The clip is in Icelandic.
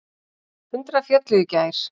Hundrað féllu í gær.